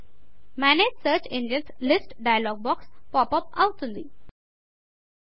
manage search engines list manage search engines list dialog box popup అవుతుంది